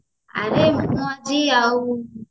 ଆରେ ମୁ ଆଜି ଆଉ